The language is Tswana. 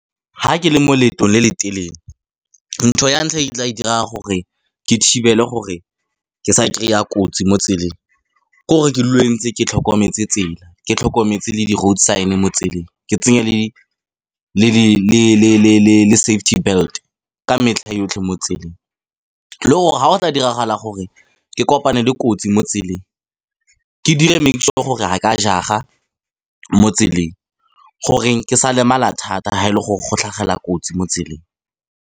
Ga ke le mo leeto le le telele ntho ya ntlha e tla e dira gore ke thibele gore ke sa kry-a kotsi mo tseleng. Ke gore ke dule ntse ke tlhokometse tsela, ke tlhokometse le di road sign mo tseleng, ke tsenye le safety belt ka metlha yotlhe mo tseleng. Le gore ga go tla diragala gore ke kopane le kotsi mo tseleng, ke dire make sure gore ha ka jaga mo tseleng, gore ke sa lemala thata ha e le gore go tlhagela kotsi mo tseleng.